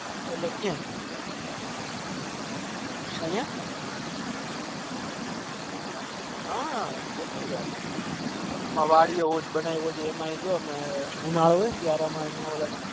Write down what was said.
અલ્યા કયા અહિયાં હ કેટલી વાર